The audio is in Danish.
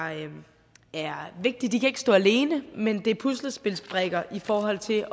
er vigtige de kan ikke stå alene men det er puslespilsbrikker i forhold til